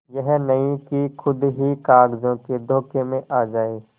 यह नहीं कि खुद ही कागजों के धोखे में आ जाए